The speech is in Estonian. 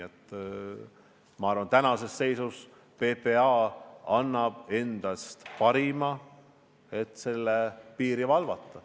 Ma arvan, tänases seisus PPA annab endast parima, et piiri valvata.